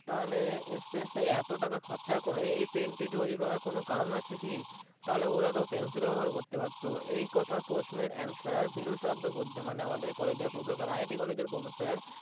তাহলে Space এ এত টাকা খরচে করে এই Pen টি তৈরী করার কোনো কারণ আছেই কই তাহলে ওরা তো Pencil ও বেবহার করতে পারতো এই কথার পোষে বিরু সাহাদ্দ বুড্ডে মানে আমাদের ProfessorIITcollege এর Professor